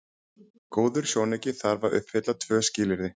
Góður sjónauki þarf að uppfylla tvö skilyrði.